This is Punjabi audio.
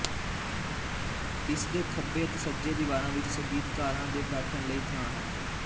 ਇਸ ਦੇ ਖੱਬੇ ਅਤੇ ਸੱਜੇ ਦੀਵਾਰਾਂ ਵਿੱਚ ਸੰਗੀਤਕਾਰਾਂ ਦੇ ਬੈਠਣ ਲਈ ਥਾਂ ਹੈ